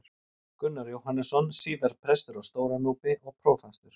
Gunnar Jóhannesson, síðar prestur á Stóra-Núpi og prófastur.